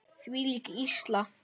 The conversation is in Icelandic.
Þvílík illska.